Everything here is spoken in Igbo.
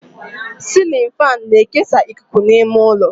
Cilin fáan na-ekesa ikuku n'ime ụlọ